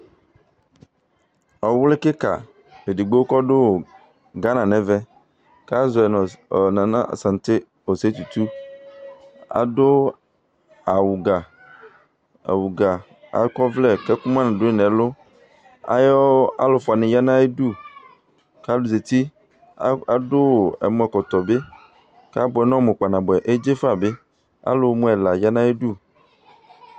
Ɔwlɩ kɩka edigbo kʋ ɔdʋ Ghana nʋ ɛvɛ, kʋ azɔ yɩ Nana asantɩ ɔsɛtutu, adʋ awʋga, akɔ ɔvlɛ, kʋ ɛkʋman dʋ yɩ nʋ ɛlʋ, ayʋ alʋfʋa wanɩ ya nʋ ayʋ idu, kʋ azati, adʋ ɛmɔkɔtɔ bɩ kʋ abʋɛ nʋ ɔmʋ kpanabʋɛ, edze fa bɩ, alʋ mʋ ɛla ya nʋ ayʋ idu